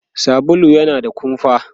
sabulu yana da kumfa